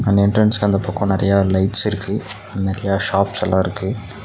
அந்த எண்ட்ரன்ஸ்கு அந்த பக்கோ நறையா லைட்ஸ் இருக்கு நறைய ஷாப்செல்லா இருக்கு.